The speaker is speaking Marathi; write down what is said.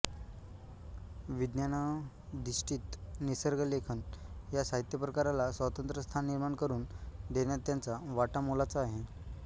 विज्ञानाधिष्ठित निसर्गलेखन या साहित्यप्रकाराला स्वतंत्र स्थान निर्माण करून देण्यात त्यांचा वाटा मोलाचा आहे